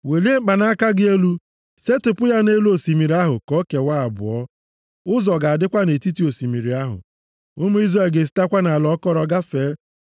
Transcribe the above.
Welie mkpanaka gị elu. Setịpụ ya nʼelu osimiri ahụ ka o kewaa abụọ. Ụzọ ga-adịkwa nʼetiti osimiri ahụ. Ụmụ Izrel ga-esitekwa nʼala akọrọ gafee.